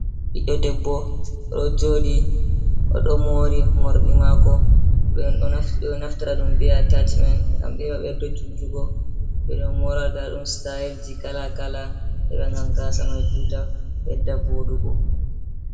Ɓiɗɗo debbo ɗo jooɗii o ɗo moori morɗi maako ɓeɗo naftita ɗum bee’a taashi men ngam heɓa ɓedda juutugo, ɓeɗo moora nda ɗum sitayel ji, kala kala heɓa ngam gaasa mai juuta ɓedda vooɗugo.